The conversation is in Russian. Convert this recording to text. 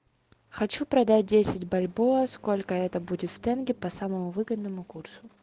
хочу продать десять бальбоа сколько это будет в тенге по самому выгодному курсу